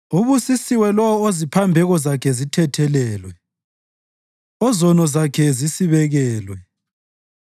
Ubusisiwe lowo oziphambeko zakhe zithethelelwe, ozono zakhe zisibekelwe.